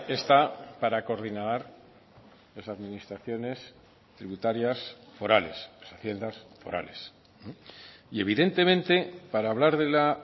está para coordinar las administraciones tributarias forales haciendas forales y evidentemente para hablar de la